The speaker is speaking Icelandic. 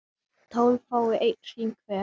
tólf fái einn hring hver